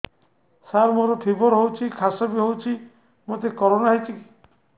ସାର ମୋର ଫିବର ହଉଚି ଖାସ ବି ହଉଚି ମୋତେ କରୋନା ହେଇଚି କି